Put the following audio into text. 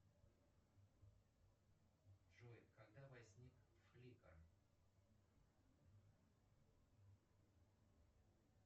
джой когда возник фликар